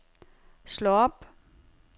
slå op